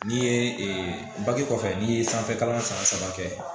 N'i ye kɔfɛ n'i ye sanfɛ kalan san saba kɛ